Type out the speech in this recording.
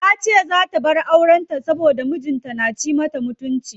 Tace zaa ta bar auren ta saboda mijin ta na ci mata mutunci.